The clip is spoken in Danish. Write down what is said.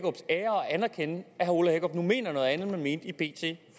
anerkende at herre ole hækkerup nu mener noget andet end han mente i bt